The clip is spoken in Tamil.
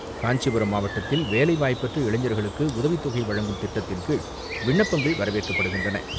காஞ்சிபுரம் மாவட்டத்தில் வேலைவாய்ப்பற்ற இளைஞர்களுக்கு உதவித்தொகை வழங்கும் திட்டத்தின்கீழ் விண்ணப்பங்கள் வரவேற்கப்படுகின்றன.